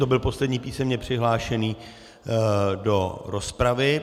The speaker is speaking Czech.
To byl poslední písemně přihlášený do rozpravy.